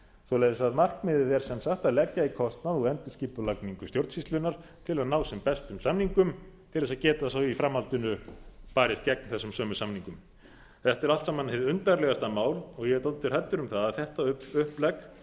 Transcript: svoleiðis að markmiðið er sem sagt að leggja í kostnað og endurskipulagningu stjórnsýslunnar til að ná sem bestum samningum til þess að geta svo í framhaldinu barist gegn þessum sömu samningum þetta er allt saman hið undarlegasta mál og ég er dálítið hræddur um það að þetta upplegg